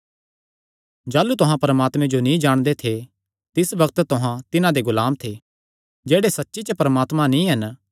जाह़लू तुहां परमात्मे जो नीं जाणदे थे तिस बग्त तुहां तिन्हां दे गुलाम थे जेह्ड़े सच्ची च परमात्मा नीं हन